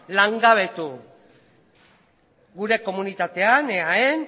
langabetu gure komunitatean eaen